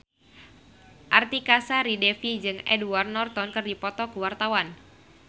Artika Sari Devi jeung Edward Norton keur dipoto ku wartawan